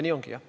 Nii ongi.